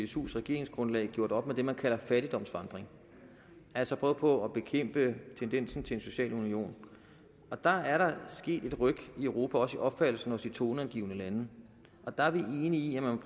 csus regeringsgrundlag har gjort op med det man kalder fattigdomsvandring altså prøvet på at bekæmpe tendensen til en social union og der er der sket et ryk i europa også i opfattelsen hos de toneangivende lande der er vi enige i at man